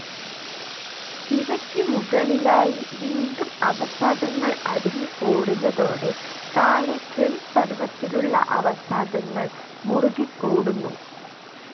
ഇവയ്ക്കു മുകളിലായി വീണ്ടും അവസാദങ്ങൾ അടിഞ്ഞുകൂടുന്നതോടെ താഴെ ചെളിപ്പരുവത്തിലുള്ള അവസാദങ്ങൾ മുറുകിക്കൂടുന്നു.